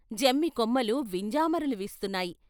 జమ్మి కొమ్మలు వింజామరలు వీస్తున్నాయి.